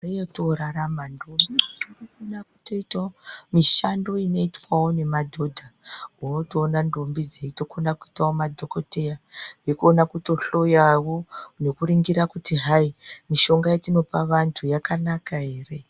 Nguva yoto rarama ndombi dzinoto kona kuto itawo mishando ino itwawo ne madhodha woto ona ndombi dzeito kona ku itawo madhokodheya neku kona kuto hloyawo neku ningira kuti hai mishonga ya tinopa vantu yaka naka ere.